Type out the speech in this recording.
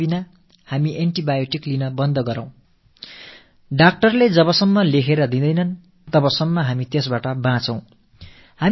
சில கணங்களுக்கு வேண்டுமானால் உங்களுக்கு நிவாரணம் கிடைக்கலாம் ஆனால் மருத்துவர்கள் பரிந்துரையில்லாமல் antibioticஐ எடுத்துக் கொள்ளும் பழக்கத்தை அறவே நிறுத்திக் கொள்ள வேண்டும்